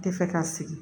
Tɛ fɛ ka sigi